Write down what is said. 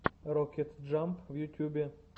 рокет джамп в ютюбе